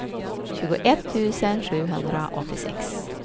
tjugoett tusen sjuhundraåttiosex